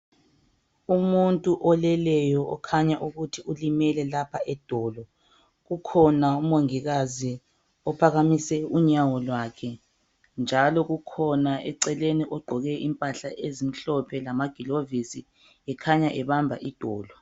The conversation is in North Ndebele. Umuntu oleleyo okhanya ukuthi ulimele lapha edolo .Ukhona umongikazi ophakamise unyawo lwakhe njalo kukhona eceleni ogqoke impahla ezimhlophe lama gilovisi ekhanya ebamba idolo.